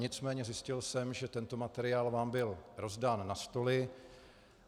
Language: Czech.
Nicméně zjistil jsem, že tento materiál vám byl rozdán na stoly.